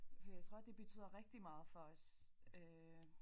For jeg tror det betyder rigtig meget for os øh